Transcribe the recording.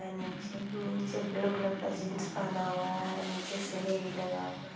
नीचे blue colour का jeans पहना हुआ है नीचे सीढ़ी भी लगा हुआ है।